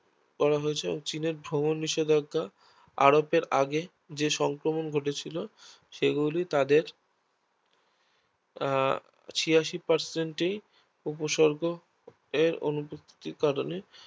চীনের ভ্রমণ নিষেধাজ্ঞা আরোপের আগে জেসংক্রমন ঘটেছিল সেগুলো তাদের আহ ছিয়াশি Percent এই উপসর্গ এর অনুপস্থিতির কারণে